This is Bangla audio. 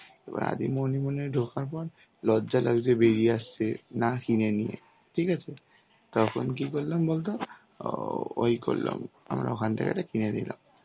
এবার আদি মোহিনী মোহন এ ঢোকার পর লজ্জা লাগছে বেরিয়ে আসতে না কিনে নিয়ে ঠিক আছে তখন কি করলাম বলতো অ্যাঁ ওই করলাম আমরা ওখানথেকে কিনে নিলাম,